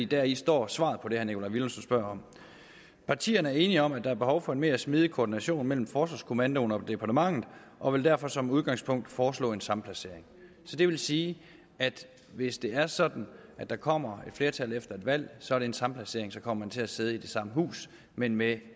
deri står svaret på det herre nikolaj villumsen spørger om partierne er enige om at der er behov for en mere smidig koordination mellem forsvarskommandoen og departementet og vil derfor som udgangspunkt foreslå en samplacering så det vil sige at hvis det er sådan at der kommer et flertal efter et valg så er det en samplacering og så kommer man til at sidde i det samme hus men med